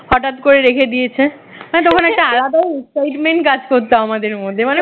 হঠাৎ করে রেখে দিয়েছে তখন একটা আলাদাই excitement কাজ করত আমাদের মধ্যে